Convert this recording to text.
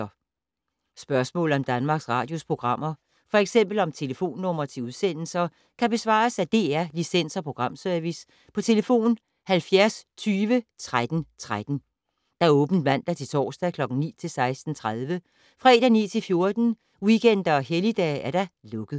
Spørgsmål om Danmarks Radios programmer, f.eks. om telefonnumre til udsendelser, kan besvares af DR Licens- og Programservice: tlf. 70 20 13 13, åbent mandag-torsdag 9.00-16.30, fredag 9.00-14.00, weekender og helligdage: lukket.